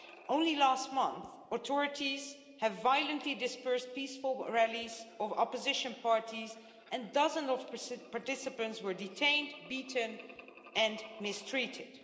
Only last month, authorities have violently dispersed peaceful rallies of opposition parties and dozens of participants were detained, beaten and mistreated.